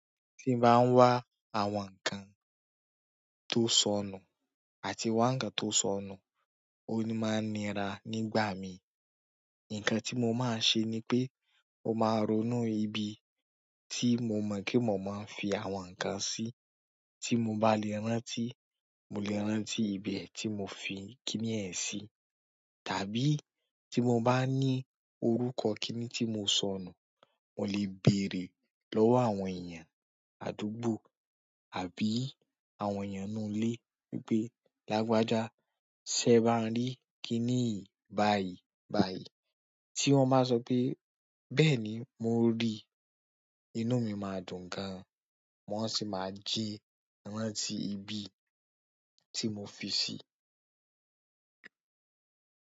Tí n bá ń wá àwọn ǹkan tó sọnù àti wá ǹkan tó sọnù, ó máa ń nira nígbà mi. Nǹkan tí mo máa n ṣe ni pé mo máa ronú ibi tí mo mọ̀ pé mo máa n fi àwọn ǹkan sí. Tí mo bá lè rántí, mo lè rántí ibẹ̀ tí mo fi kiní yẹn sí. Tàbí tí mo bá ní orúkọ kiní tí mo sọnù, mo lè bèèrè lọ́wọ́ àwọn èèyàn àdúgbò àbí àwọn èèyàn nínú ilé wí pé, "Lágbájá, ṣẹ ebá ń rí kiní yìí báyìí báyìí?" tí wọ́n bá so pé bẹ́ẹ̀ni mo rí i inú mí máa dùn gan an. Wọn sì máa jí rántí ibi tí mo fi sí i.